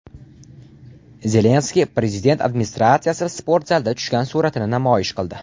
Zelenskiy Prezident administratsiyasi sportzalida tushgan suratini namoyish qildi.